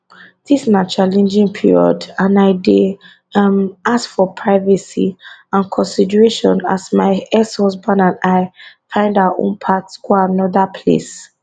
dis na challenging period and i dey um ask for privacy and consideration as my exhusband and i find our own path go anoda place